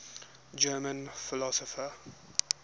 german philosophers